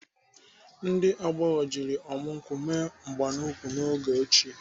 Ndị agbọghọ jiri ọmụ nkwụ mee mgbanụkwụ n'oge ochie.